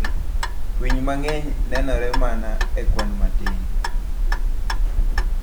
Winy mang'eny nenore mana e kwan matin.